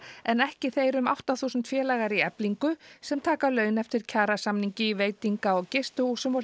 en ekki þeir um átta þúsund félagar í Eflingu sem taka laun eftir kjarasamningi í veitinga og gistihúsum og